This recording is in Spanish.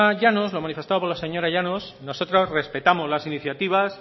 llanos lo manifestado por la señora llanos nosotros respetamos las iniciativas